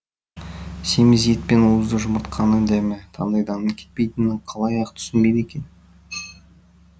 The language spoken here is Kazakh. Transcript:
семіз ет пен уызды жұмыртқаның дәмі таңдайдан кетпейтінін қалай ақ түсінбейді екен